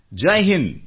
Jai Hind